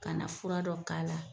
Ka na fura dɔ k'a la